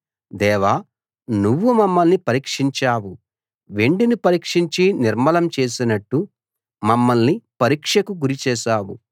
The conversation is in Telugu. దేవా నువ్వు మమ్మల్ని పరీక్షించావు వెండిని పరీక్షించి నిర్మలం చేసినట్టు మమ్మల్ని పరీక్షకు గురిచేశావు